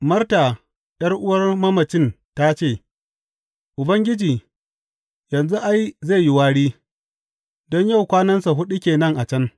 Marta, ’yar’uwan mamacin ta ce, Ubangiji, yanzu, ai, zai yi wari, don yau kwanansa huɗu ke nan a can.